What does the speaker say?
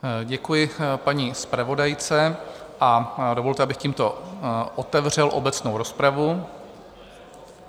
Děkuji paní zpravodajce a dovolte, abych tímto otevřel obecnou rozpravu.